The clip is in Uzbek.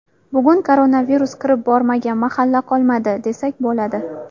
Bugun koronavirus kirib bormagan mahalla qolmadi, desak bo‘ladi.